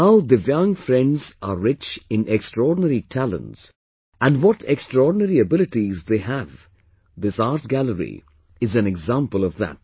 How Divyang friends are rich in extraordinary talents and what extraordinary abilities they have this art gallery is an example of that